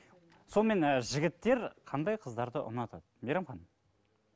сонымен ы жігіттер қандай қыздарды ұнатады мейрамхан